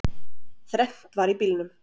Þrennt var í bílnum